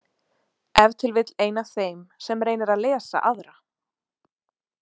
Ef til vill ein af þeim sem reynir að lesa aðra.